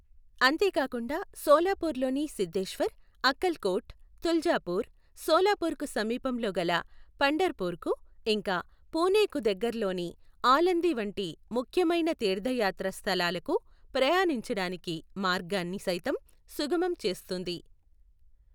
అంతేకాకుండా శోలాపుర్ లోని సిద్ధేశ్వర్, అక్కల్ కోట్, తులజాపుర్, శోలాపుర్ కు సమీపంలో గల పంఢర్ పుర్ కు, ఇంకా పుణేకు దగ్గర లోని ఆలందీ వంటి ముఖ్యమైన తీర్థయాత్ర స్థలాలకు ప్రయాణించడానికి మార్గాన్ని సైతం సుగమం చేస్తుంది.